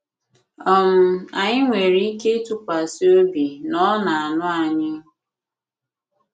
um Anyị nwere ike ịtụkwasị obi na Ọ na-anụ anyị.